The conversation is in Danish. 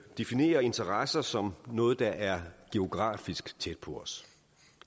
definerer interesser som noget der er geografisk tæt på os